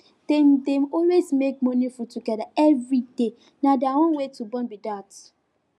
dem dey always make morning food together every day na their own way to bond be that